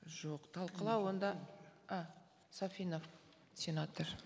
жоқ талқылау онда а сафинов сенатор